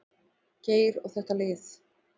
Geir og þetta lið.